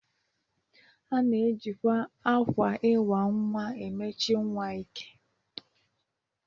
A na-ejikwa akwa iwa nwa emechi nwa ike.